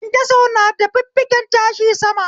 Kyankyaso na da fiffiken tashi sama